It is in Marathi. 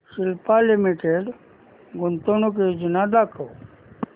सिप्ला लिमिटेड गुंतवणूक योजना दाखव